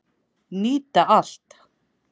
Nýta allt